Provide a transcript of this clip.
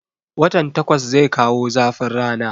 Watan takwas zai kawo zafin rana